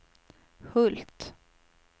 Hult